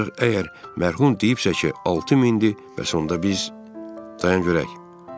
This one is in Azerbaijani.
Ancaq əgər mərhum deyibsə ki, 6000-dir, bəs onda biz dayanaq görək.